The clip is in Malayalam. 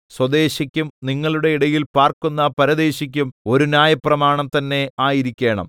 സ്വദേശിക്കും നിങ്ങളുടെ ഇടയിൽ പാർക്കുന്ന പരദേശിക്കും ഒരു ന്യായപ്രമാണം തന്നെ ആയിരിക്കണം